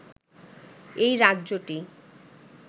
এই রাজ্যটি